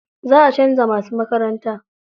Za a canza musu makaranta.